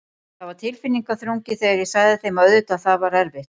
Það var tilfinningaþrungið þegar ég sagði þeim og auðvitað það var erfitt.